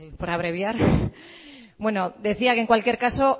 pues por abreviar bueno decía que en cualquier caso